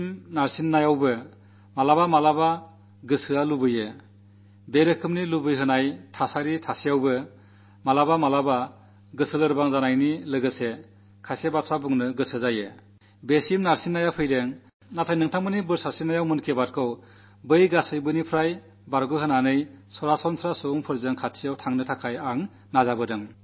രണ്ടു വർഷത്തെ ഈ കാലാവധിയിൽ പല തരത്തിലുള്ള സമ്മർദ്ദങ്ങളുമുണ്ടായിട്ടും ചിലപ്പോഴൊക്കെ മനസ്സു കൊതിച്ചുപോകുന്നവിധത്തിലുള്ള പ്രലോഭമനമേകുന്ന ചുറ്റുപാടുകളുണ്ടായിട്ടും ഇടയ്ക്ക് അനിഷ്ടത്തോടെ ചിലതു പറയാൻ മനസ്സു പ്രേരിപ്പിക്കുന്നവിധം സമ്മർദ്ദമുണ്ടായിട്ടും നിങ്ങളുടെയെല്ലാം ആശീർവ്വാദം കാരണം മൻ കി ബാത്തിനെ അവയിൽ നിന്ന് അകറ്റി നിർത്തി സാധാരണ മനുഷ്യരുമായി ബന്ധപ്പെടാനുള്ള ശ്രമമാണു നടത്തിപ്പോന്നത്